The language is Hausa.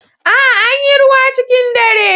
A'a, Anyi ruwa cikin dare.